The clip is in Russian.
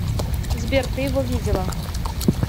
сбер ты его видела